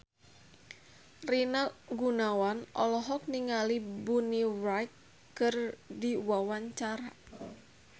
Rina Gunawan olohok ningali Bonnie Wright keur diwawancara